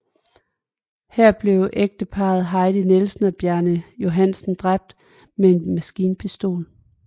Her blev ægteparret Heidi Nielsen og Bjarne Johansen dræbt med en maskinpistol